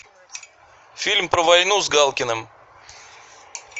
фильм про войну с галкиным